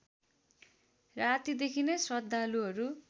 रातिदेखि नै श्रद्धालुहरू